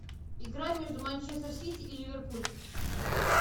игра между манчестер сити и ливерпуль